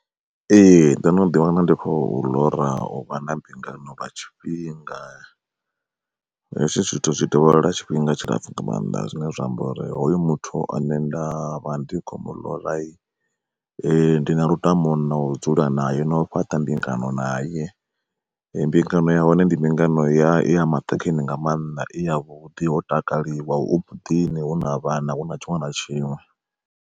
Ee ndo no ḓi wana ndi khou ḽora u vha na mbingano lwa tshifhinga, hezwi zwithu zwi dovholola tshifhinga tshilapfhu nga maanḓa zwine zwa amba uri hoyu muthu ane nda vha ndi kho muḽora ndi na lutamo nou dzula nae na u fhaṱa mbingano naye. Mbingano ya hone ndi mbingano ya i ya maṱhakheni nga maanḓa i ya vhuḓi ho takaliwa hu muḓini hu na vhana hu na tshiṅwe na tshiṅwe.